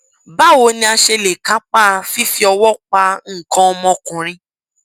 báwo ni a ṣe lè kápa fífi ọwọ pa nǹkan ọmọkùnrin